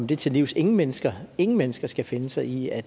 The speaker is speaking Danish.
det til livs ingen mennesker ingen mennesker skal finde sig i at